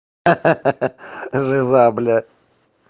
ха-ха жиза бля